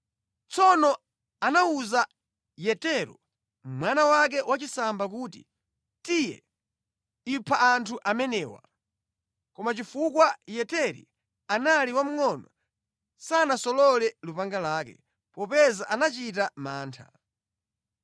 Tsono anawuza Yetero, mwana wake wachisamba kuti, “Tiye, ipha anthu amenewa!” Koma chifukwa Yeteri anali wamngʼono sanasolole lupanga lake, popeza anachita mantha.